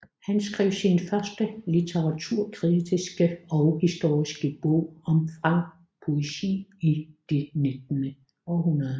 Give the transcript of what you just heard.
Han skrev sin første litteraturkritiske og historiske bog om Fransk Poesi i det 19